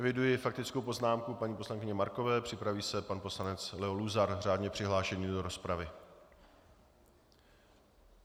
Eviduji faktickou poznámku paní poslankyně Markové, připraví se pan poslanec Leo Luzar, řádně přihlášený do rozpravy.